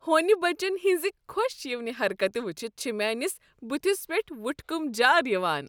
ہونہِ بچن ہنٛزٕ خۄش یونہِ حرکتہٕ وچھتھ چھ میٲنس بٕتھس پیٹھ وٹھکمجار یوان۔